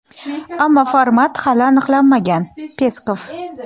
ammo format hali aniqlanmagan – Peskov.